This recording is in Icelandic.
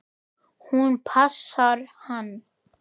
Hún passar hann!